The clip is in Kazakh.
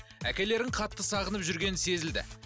әкелерін қатты сағынып жүргені сезілді